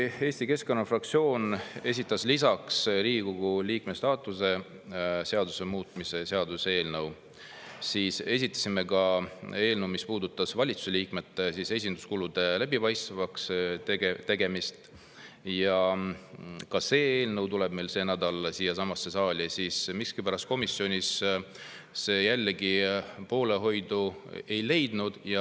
Eesti Keskerakonna fraktsioon esitas lisaks Riigikogu liikme staatuse seaduse muutmise seaduse eelnõule eelnõu, mis puudutas valitsuse liikmete esinduskulude läbipaistvaks tegemist – ka see eelnõu tuleb see nädal siiasamasse saali –, aga huvitaval kombel see komisjonis poolehoidu miskipärast jällegi ei leidnud.